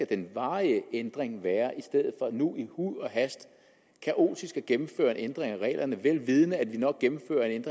den varige ændring skal være i stedet for nu i huj og hast kaotisk at gennemføre en ændring af reglerne vel vidende at vi nok gennemfører en